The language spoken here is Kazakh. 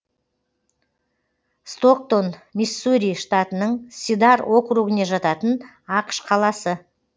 стоктон миссури штатының сидар округіне жататын ақш қаласы